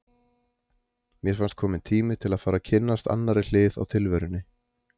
Mér fannst kominn tími til að fara að kynnast annarri hlið á tilverunni.